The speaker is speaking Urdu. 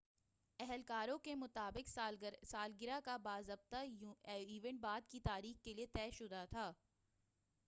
اہلکاروں کے مطابق سالگرہ کا باضابطہ ایونٹ بعد کی تاریخ کے لیے طے شدہ تھا